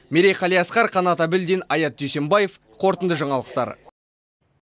мерей қалиасқар қанат әбілдин аят дүйсембаев қорытынды жаңалықтар